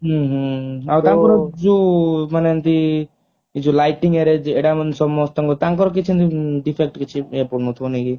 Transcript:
ହୁଁ ହୁଁ ଆଉ ତାଙ୍କର ଯୋଉ ମାନେ ଏମିତି ଏଇ ଯୋଉ lighting arrange ଏଟା ମାନେ ସମସ୍ତଙ୍କ ତାଙ୍କର କିଛି defect କିଛି ପଡୁ ନଥିବ ନାଇଁ କି?